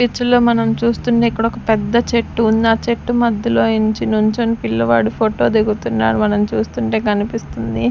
ఇందులో మనం చూస్తుంది ఇక్కడొక పెద్ద చెట్టు ఉంది. ఆ చెట్టు మధ్యలో ఎంచి నుంచొని పిల్లవాడు ఫోటో దిగుతున్నాడు మనం చూస్తుంటే కనిపిస్తుంది.